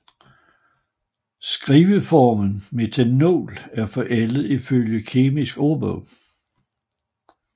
Skriveformen Metanol er forældet ifølge Kemisk Ordbog